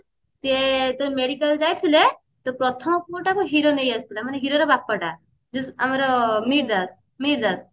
ସିଏ ଯେତେବେଳେ medical ଯାଇଥିଲେ ତ ପ୍ରଥମ ପୁଅଟାକୁ hero ନେଇ ଆସିଥିଲା ମାନେ hero ର ବାପା ଟା ଯୋଉ ଆମର ମିହିର ଦାସ ମିହିର ଦାସ